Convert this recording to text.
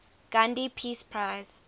gandhi peace prize